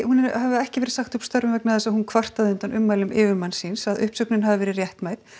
ekki verið sagt upp störfum vegna þess að hún kvartaði undan ummælum yfirmanns síns að uppsögnin hafi verið réttmæt